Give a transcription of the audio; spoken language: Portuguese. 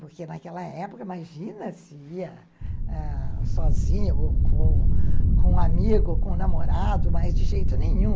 Porque naquela época, imagina se ia ãh sozinha, ou com com um amigo, ou com um namorado, mas de jeito nenhum.